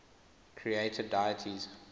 creator deities